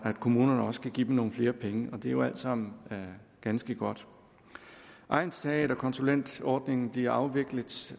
kommunerne også kan give dem nogle flere penge og det er jo alt sammen ganske godt egnsteaterkonsulentordningen bliver afviklet